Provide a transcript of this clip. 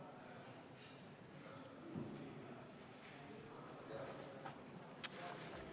Palun!